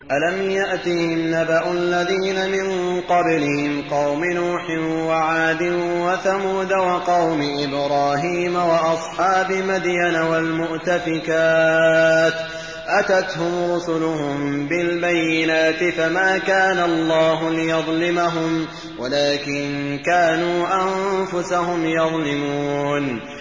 أَلَمْ يَأْتِهِمْ نَبَأُ الَّذِينَ مِن قَبْلِهِمْ قَوْمِ نُوحٍ وَعَادٍ وَثَمُودَ وَقَوْمِ إِبْرَاهِيمَ وَأَصْحَابِ مَدْيَنَ وَالْمُؤْتَفِكَاتِ ۚ أَتَتْهُمْ رُسُلُهُم بِالْبَيِّنَاتِ ۖ فَمَا كَانَ اللَّهُ لِيَظْلِمَهُمْ وَلَٰكِن كَانُوا أَنفُسَهُمْ يَظْلِمُونَ